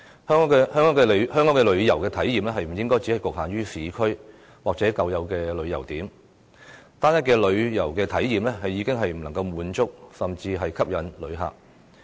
香港的旅遊體驗不應只局限於市區或舊有的旅遊點，單一的旅遊體驗已經不能滿足和吸引旅客。